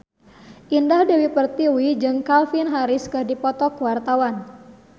Indah Dewi Pertiwi jeung Calvin Harris keur dipoto ku wartawan